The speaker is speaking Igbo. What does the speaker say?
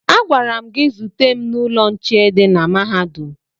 Agwara m gị zute m n'ụlọ nche dị na mahadum!